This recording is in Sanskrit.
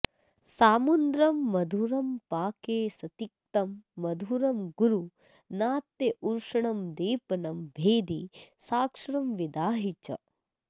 सामुद्रं मधुरं पाके सतिक्तं मधुरं गुरु नात्युष्णं दीपनं भेदि सक्षारमविदाहि च